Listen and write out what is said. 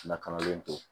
Lakanalen to